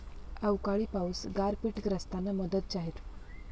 अवकाळी पाऊस, गारपीटग्रस्तांना मदत जाहीर